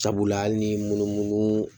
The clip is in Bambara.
Sabula hali ni munu munu